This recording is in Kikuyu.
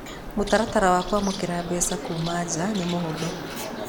Mũtaratara wa kũamũkĩra mbeca kuuma nja nĩ mũhũthũ.